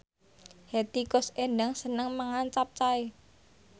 Hetty Koes Endang seneng mangan capcay